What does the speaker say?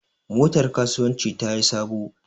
Motar kasuwanci tayi sabo.